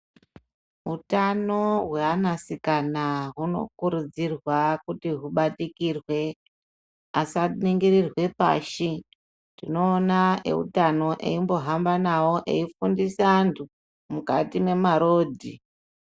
Hutano hwe ana sikana huno kurudzirwa kuti hu batikirwe asa nyengererwe pashi tinoona eutano eimbo hamba nawo eyi fundisa antu mukati me marodhi.